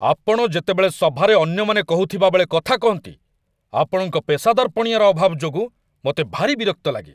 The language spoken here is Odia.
ଆପଣ ଯେତେବେଳେ ସଭାରେ ଅନ୍ୟମାନେ କହୁଥିବାବେଳେ କଥା କହନ୍ତି, ଆପଣଙ୍କ ପେସାଦାରପଣିଆର ଅଭାବ ଯୋଗୁଁ ମୋତେ ଭାରି ବିରକ୍ତି ଲାଗେ